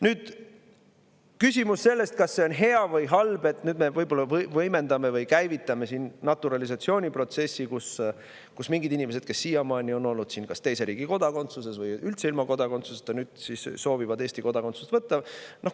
Nüüd on küsimus, kas see on hea või halb, kui me võib-olla võimendame siin naturalisatsiooniprotsessi või käivitame selle, nii et mingid inimesed, kes siiamaani on olnud kas teise riigi kodakondsuses või üldse ilma kodakondsuseta, soovivad edaspidi Eesti kodakondsust võtta.